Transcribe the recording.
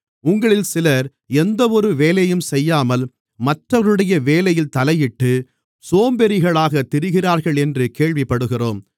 உங்களில் சிலர் எந்தவொரு வேலையும் செய்யாமல் மற்றவர்களுடைய வேலையில் தலையிட்டு சோம்பேறிகளாகத் திரிகிறார்களென்று கேள்விப்படுகிறோம்